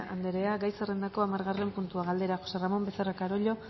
anderea gai zerrendako hamargarren puntua galdera josé ramón becerra carollo